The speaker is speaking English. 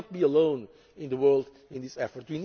we cannot be alone in the world in this